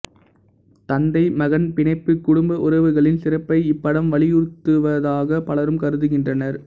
தந்தை மகன் பிணைப்பு குடும்ப உறவுகளின் சிறப்பை இப்படம் வலியுறுத்துவதாக பலரும் கருதுகின்றனர்